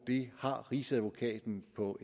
det har rigsadvokaten på